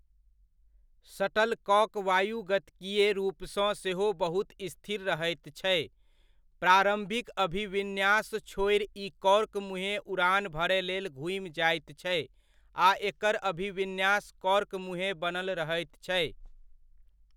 Shuttlecock वायुगतिकीय रूपसँ सेहो बहुत स्थिर रहैत छै, प्रारम्भिक अभिविन्यास छोड़ि ई कॉर्क मुँहेँ उड़ान भरय लेल घूमि जाइत छै आ एकर अभिविन्यास कॉर्क मुँहेँ बनल रहैत छै।